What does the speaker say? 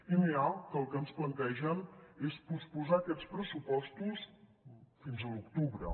i n’hi ha que el que ens plantegen és posposar aquests pressupostos fins a l’octubre